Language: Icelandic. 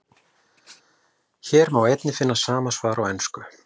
Hér má einnig finna sama svar á ensku.